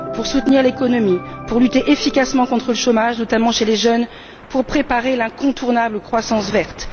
Pour soutenir l'économie, pour lutter efficacement contre le chômage, notamment chez les jeunes, pour préparer l'incontournable croissance verte.